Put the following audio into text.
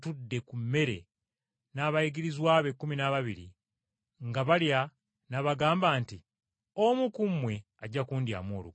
ku mmere n’abayigirizwa be ekkumi n’ababiri, nga balya n’abagamba nti, “Omu ku mmwe ajja kundyamu olukwe.”